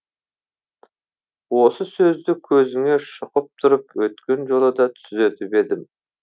осы сөзді көзіңе шұқып тұрып өткен жолы да түзетіп едім